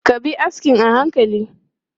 Ka bi askin a hankali!